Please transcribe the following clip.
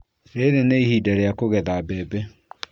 Rĩrĩ nĩ ihinda rĩa kũgetha mbembe